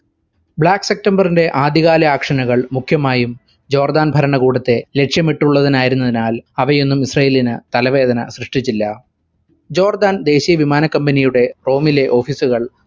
black september ന്റെ ആദ്യ കാല action കൾ മുഖ്യമായും ജോർദാൻ ഭരണകൂടത്തെ ലക്ഷ്യമിട്ടുള്ളതിനായിരുന്നതിനാൽ അവയൊന്നും ഇസ്രായേലിനു തലവേദന സൃഷ്ടിച്ചില്ല. ജോർദാൻ ദേശീയ വിമാന company യുടെ റോമിലെ office ഉകൾ